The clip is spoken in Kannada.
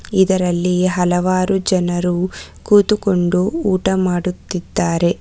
ಇದರಲ್ಲಿ ಹಲವಾರು ಜನರು ಕೂತುಕೊಂಡು ಊಟ ಮಾಡುತ್ತಿದ್ದಾರೆ.